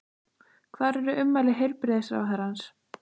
Hvar er ummæli heilbrigðisráðherrans?